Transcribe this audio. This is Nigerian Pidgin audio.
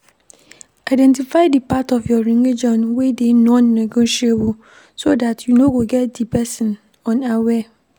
Identify di part of your religion wey dey non-negotiable so dat you no go take di person unaware